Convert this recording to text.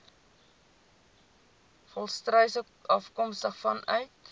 volstruise afkomstig vanuit